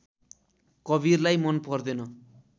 कवीरलाई मन पर्दैन